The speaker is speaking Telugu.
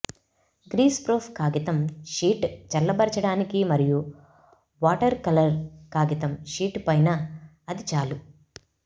గ్రీస్ప్రోఫ్ కాగితం షీట్ చల్లబరచడానికి మరియు వాటర్కలర్ కాగితం షీట్ పైన అది చాలు